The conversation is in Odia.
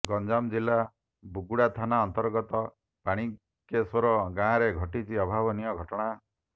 ଗଞ୍ଜାମ ଜିଲ୍ଲା ବୁଗୁଡା ଥାନା ଅନ୍ତର୍ଗତ ପାଣିକେଶ୍ୱର ଗାଆଁରେ ଘଟିଛି ଅଭାବନୀୟ ଘଟଣା